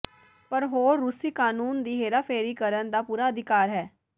ਪਰ ਹੋਰ ਰੂਸੀ ਕਾਨੂੰਨ ਦੀ ਹੇਰਾਫੇਰੀ ਕਰਨ ਦਾ ਪੂਰਾ ਅਧਿਕਾਰ ਹੈ